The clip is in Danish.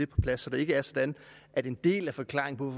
plads så det ikke er sådan at en del af forklaringen